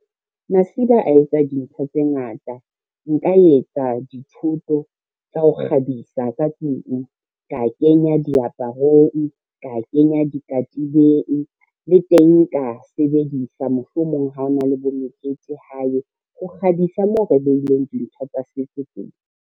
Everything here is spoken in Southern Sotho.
Masiba a etsa dintho tse ngata. Nka etsa dithoto tsa ho kgabisa ka tlung, ka kenya diaparong, ka kenya dikatibeng, le teng ka sebedisa mohlomong ha hona le bo mekete hae, ho kgabisa moo re beileng dintho tsa setso teng.